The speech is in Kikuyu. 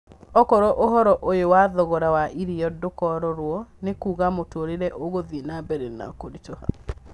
Okorwo ũhoro ũyũ wa thogora wa irio ndũkũrorwo, nĩkuuga mũtũrĩre ũgũthiĩ na mbere na kũritũha